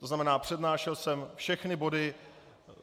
To znamená, přednášel jsem všechny body.